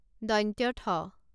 ঠ